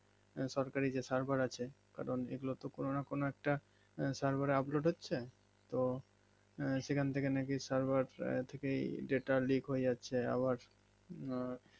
সরকারি যে server আছে কারণ এগুলোতো কোনোনা কোনো একটা server এ upload হচ্ছে তো শেখ থেকে নাকি server থেকেই delta লিক হয়ে যাচ্ছে আবার আঃ